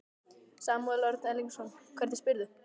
Samúel Örn Erlingsson, hvernig spyrðu?